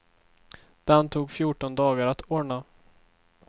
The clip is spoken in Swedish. Den tog fjorton dagar att ordna.